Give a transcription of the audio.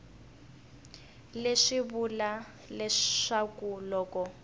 leswi swi vula leswaku loko